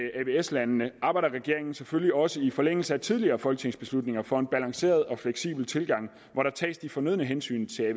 landene arbejder regeringen selvfølgelig også i forlængelse af tidligere folketingsbeslutninger for en balanceret og fleksibel tilgang hvor der tages de fornødne hensyn til